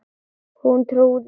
Hún trúði